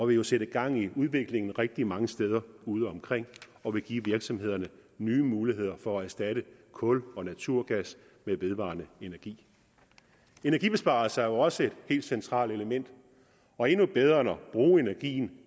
vil jo sætte gang i udviklingen rigtig mange steder udeomkring og vil give virksomhederne nye muligheder for at erstatte kul og naturgas med vedvarende energi energibesparelser er også et helt centralt element og endnu bedre end at bruge energien